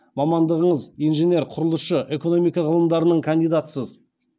мамандығыңыз инженер құрылысшы экономика ғылымдарының кандидатысыз